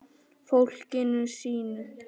Fólkinu sínu.